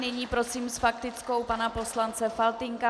Nyní prosím s faktickou pana poslance Faltýnka.